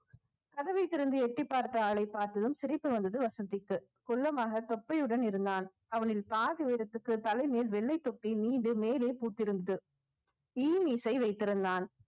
கதவைத் திறந்து எட்டிப் பார்த்த ஆளைப் பார்த்ததும் சிரிப்பு வந்தது வசந்திக்கு குள்ளமாக தொப்பையுடன் இருந்தான் அவனின் பாதி உயரத்திற்கு தலை மேல் வெள்ளைத் தொப்பி மீது மேலே பூத்திருந்தது இ இசை வைத்திருந்தான்